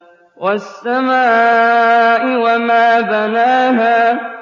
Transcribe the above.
وَالسَّمَاءِ وَمَا بَنَاهَا